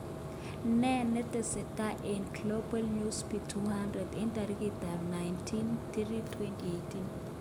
Ne netesetai en Glabal Newsbeat 100 19/03/2018